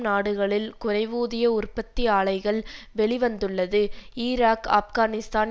நாடுகளில் குறைவூதிய உற்பத்தி ஆலைகள் வெளி வந்துள்ளது ஈராக் ஆப்கானிஸ்தான்